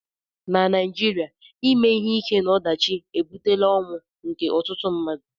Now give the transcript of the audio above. na Naịjirịa ime ihe ike na ọdachi ebutela ọnwụ nke ọtụtụ mmadụ